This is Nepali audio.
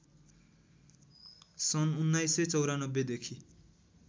सन् १९९४ देखि